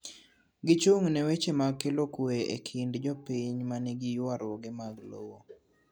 Gichung' ne weche mag kelo kue e kind jopiny manigi ywaruoge mag lowo.